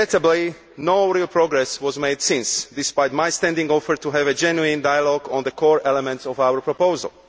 Regrettably, no real progress was made since, despite my standing offer to have a genuine dialogue on the core elements of our proposal.